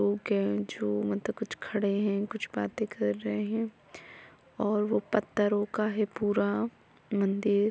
कुछ खड़े हैं कुछ बातें कर रहे हैं और वह पत्थरों का है पूरा मंदिर--